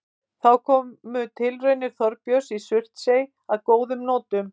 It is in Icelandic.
Þá komu tilraunir Þorbjörns í Surtsey að góðum notum.